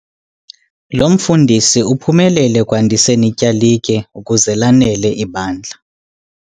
Lo mfundisi uphumelele ekwandiseni ityalike ukuze lanele ibandla.